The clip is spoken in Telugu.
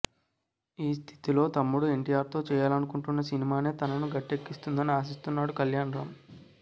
ఈ స్థితిలో తమ్ముడు ఎన్టీఆర్తో చేయాలనుకుంటన్న సినిమానే తనను గట్టెక్కిస్తుందని ఆశిస్తున్నాడు కళ్యాణ్ రామ్